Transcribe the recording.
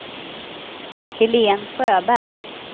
Helén Sjöberg